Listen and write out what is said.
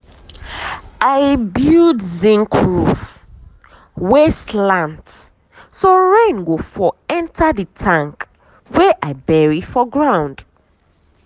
i build zinc roof wey slant so rain go fall enter the tank wey i bury for ground.